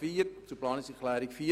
Zur Planungserklärung 4